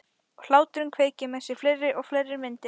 Og hláturinn kveikir með mér fleiri og fleiri myndir.